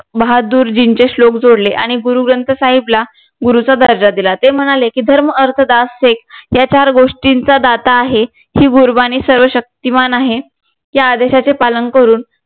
बहादूरजींचे शलोक जोडले आणि गुरु ग्रंथ साहिबला गुरूचा दर्जा दिला ते म्हणाले की धर्म अर्थ दास सीख या चार गोष्टीचा दाता आहे ही सर्व शक्तिमान आहे या आदेशाचे पालन करून